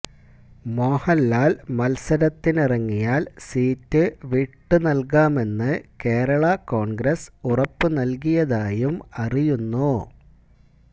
മോഹന്ലാല് മത്സരത്തിനിറങ്ങിയാല് സീറ്റ് വിട്ടുനല്കാമെന്ന് കേരള കോണ്ഗ്രസ് ഉറപ്പുനല്കിയതായും അറിയുന്നു